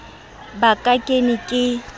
ba ka ke ne ke